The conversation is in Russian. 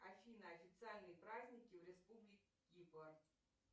афина официальные праздники в республике кипр